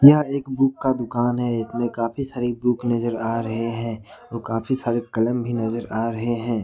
यह एक बुक का दुकान है इसमें काफी सारी बुक नजर आ रहे हैं वह काफी सारे कलम भी नजर आ रहे हैं।